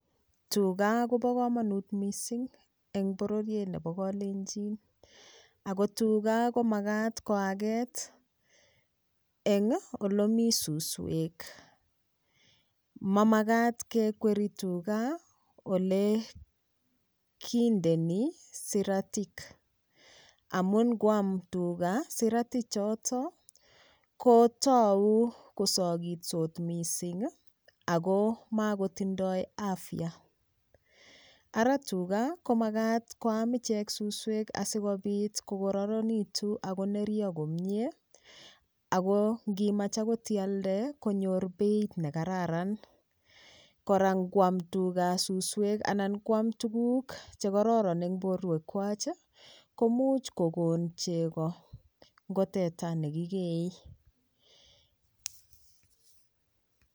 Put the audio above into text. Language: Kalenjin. Tuga kobo komonut mising eng pororiet nebo kalenjin ako tuga komakat koaket eng olemi suswek mamakat kekweri tuga ole kindeni siratik amun ngoam tuga sirati choto kotou kosokitsot mising ako makotindoi afya ara tuga komakat koam ichesuswek asikopit kokororonitu akonerio komyee ako ngimach akot ialde konyor beit nekararan kora ngoam tuga suswek anan koam tukuk chekororon eng borwekwach komuch kokon chego ngo teta nekikeei